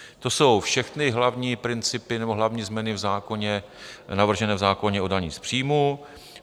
To jsou všechny hlavní principy nebo hlavní změny navržené v zákoně o dani z příjmů.